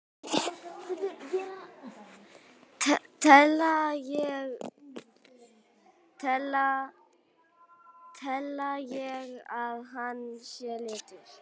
Tel ég að hann sé latur?